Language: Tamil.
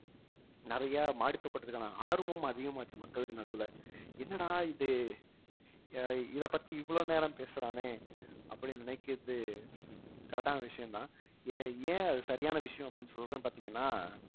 நெறைய மாடித்தோட்டதுக்கான ஆர்வமும் அதிகமாச்சு மக்களுக்கு நடுவுல என்னடா இது அஹ் இதைப்பத்தி இவ்வளவு நேரம் பேசறானே அப்படின்னு நினைக்கிறது correct ஆன விஷயம்தான் ஏன் ஏன் அது சரியான விஷயம் அப்படின்னு சொல்றேன்னு பார்த்தீங்கன்னா